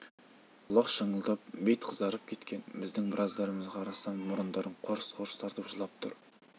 құлақ шыңылдап бет қызарып кеткен біздің біраздарымызға қарасам мұрындарын қорс-қорс тартып жылап тұр